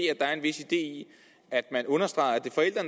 er en vis idé i at man understreger